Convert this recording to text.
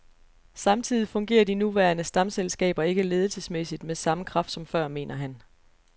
Samtidig fungerer de nuværende stamselskaber ikke ledelsesmæssigt med samme kraft som før, mener han.